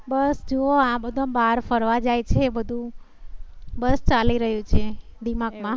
બસ જુઓ આ બધા બાર ફરવા જાય છે બધુ બસ ચાલી રહ્યું છે દીમાગ મા